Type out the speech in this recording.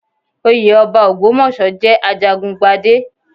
Oyé ọba Ògbómọ̀ṣọ́ jẹ́ ajagun gbadé.